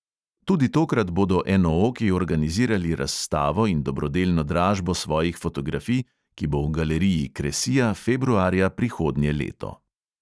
Tudi tokrat bodo enooki organizirali razstavo in dobrodelno dražbo svojih fotografij, ki bo v galeriji kresija februarja prihodnje leto.